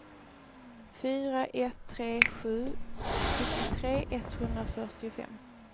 fyra ett tre sju sjuttiotre etthundrafyrtiofem